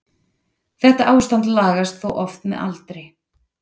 Þetta ástand lagast þó oft með aldri.